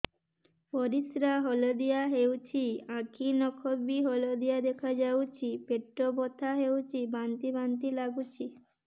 ପରିସ୍ରା ହଳଦିଆ ହେଉଛି ଆଖି ନଖ ବି ହଳଦିଆ ଦେଖାଯାଉଛି ପେଟ ବଥା ହେଉଛି ବାନ୍ତି ବାନ୍ତି ଲାଗୁଛି